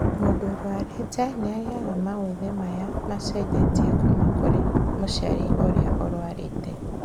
Mũndũ ũrwarĩte nĩagiaga maũthĩ maya macenjetie kuma kũrĩ mũciari ũrĩa ũrwarĩte